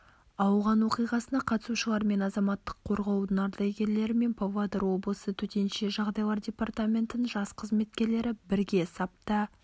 ауған оқиғасына қатысушылармен азаматтық қорғаудың ардагерлері мен павлодар облысы төтенше жағдайлар департаментінің жас қызметкерлері бірге сапта